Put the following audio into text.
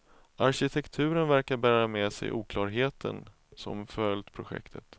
Arkitekturen verkar bära med sig oklarheten som följt projektet.